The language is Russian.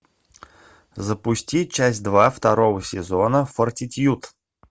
запусти часть два второго сезона фортитьюд